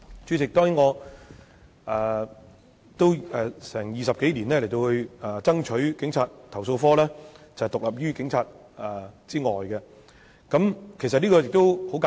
主席，過去20多年來，我一直爭取讓投訴警察課獨立於警隊以外，當中的道理其實很簡單。